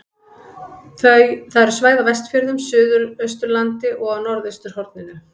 Það eru svæði á Vestfjörðum, Suðausturlandi og á norðausturhorninu.